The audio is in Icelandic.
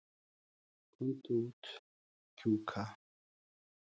Komdu út, Kjúka.